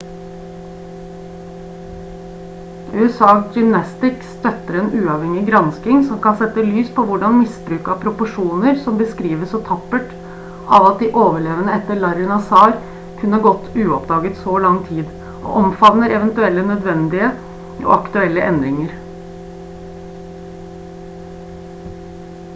usa gymnastics støtter en uavhengig gransking som kan sette lys på hvordan misbruk av proporsjoner som beskrives så tappert av at de overlevende etter larry nassar kunne ha gått uoppdaget i så lang tid og omfavner eventuelle nødvendige og aktuelle endringer